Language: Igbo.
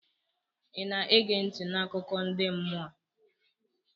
ị na-ege ntị n' akụkọ ndi mmụọ a?